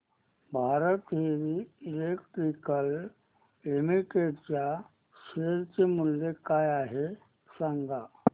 Bharat heavy electricals limited च्या share चे मूल्य काय आहे सांगा